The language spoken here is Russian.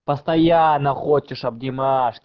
постоянно хочешь обнимашки